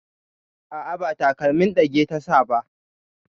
A'a, ba takalmin ɗage ta sa ba.